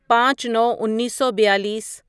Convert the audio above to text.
پانچ نو انیسو بیالیس